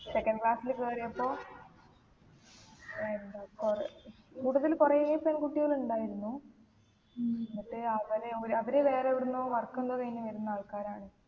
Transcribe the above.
second class ല് കേറിയപ്പോ എന്താ പറ കൂടുതൽ കൊറേ പെൺകുട്ടികൾ ഉണ്ടായിരുന്നു ഉം എന്നിട്ട് അവര് അവര് അവര് വേറെ എവിടെന്നോ work എന്തോ കഴിഞ്ഞ് വരുന്ന ആൾക്കാരാണ്